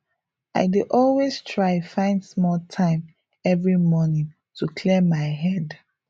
i dey always try find small time every morning to clear my head